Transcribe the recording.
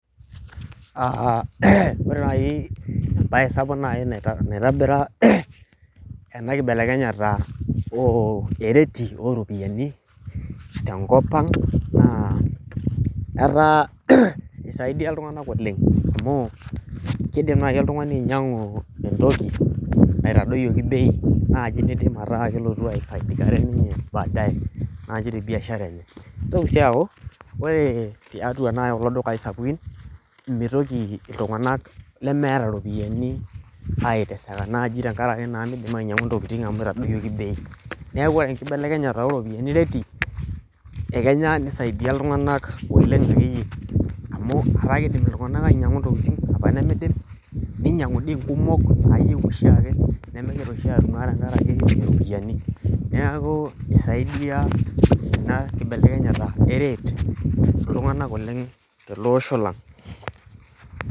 ore nayii ebaye sapuk nayii naitobira ena kibelekenyata oo ereti ooropiyiani tenkop ang' naa etaa eisaidia iltung'anak oleng' amu keidim nayii oltung'ani ainyang'u entoki naitadoyieki bei najii niidim ataa kelotu aifaidiare ninye baadaye najii tebiashara enye neitoki sii aaku ore tiatua naii kulo dukayi sapukin meitoki iltung'anak lemeeta iropiyiani aiteseka naaji tenkaraki naa neidipa inyang'u intokiting' amuu eitadoyioki bei neeku ore enkibelekenyata ooropiyiani reti te kenya neisaidia iltung'anak oleng' akeyie amuu ataa kiidim itung'anak ainyang'u intokiting' apa nemiidim neinyang'uni inkumok naayieu oshiiake nemenyorr oshii tenkaraki iropiyiani neeku eisaidia ena kibelekenyata ee reti iltung'anak oleng' tele osho lang'